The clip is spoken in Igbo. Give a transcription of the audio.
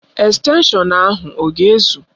Estenshọn ahụ ọ ga ezụ?